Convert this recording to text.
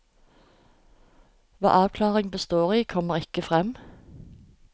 Hva avklaringen består i, kommer ikke frem.